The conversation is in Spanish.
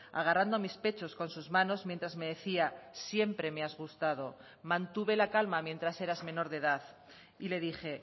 agarrando mis pechos con sus manos mientras me decía siempre me has gustado mantuve la calma mientras eras menor de edad y le dije